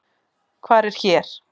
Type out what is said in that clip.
Hvar er hér?